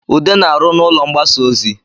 Ude na-arụ n’ụlọ mgbasa ozi